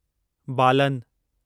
बालन